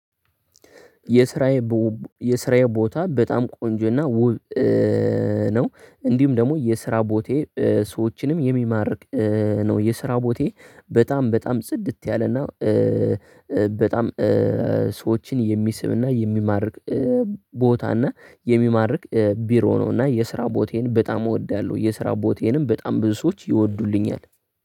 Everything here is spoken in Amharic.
የስራዬ ቦታ በጣም ቆንጆና ውብ ነው እንዲሁም ደግሞ የስራ ቦታዬ ሰዎችንም የሚማርክ ነው። የስራ ቦታዬ በጣም በጣም ጽድት ያለና በጣም ሰዎችን የሚስብና የሚማርክ ቦታና የሚማርክ ቢሮ ነው። እና የስራ ቦቴን በጣም እወዳለሁ። የስራ ቦቴንም በጣም ብዙ ሰዎች ይወዱልኛል።